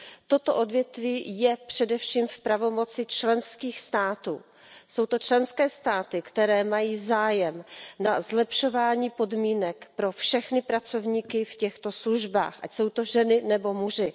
Toto odvětví je především v pravomoci členských států, jsou to členské státy, které mají zájem na zlepšování podmínek pro všechny pracovníky v těchto službách, ať jsou to ženy nebo muži.